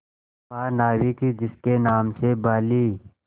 महानाविक जिसके नाम से बाली